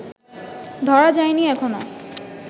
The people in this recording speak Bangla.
ধরা যায় নি এখনও